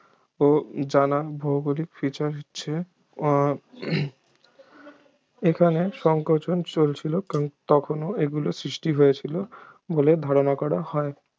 ও জানা ভৌগোলিক features হচ্ছে আহ এখানে সংকোচন চলছিল কারণ তখনও এগুলো সৃষ্টি হয়েছিল বলে ধারণা করা হয়